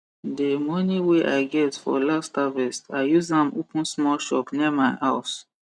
de moni wey i get for last harvest i use am open small shop near my house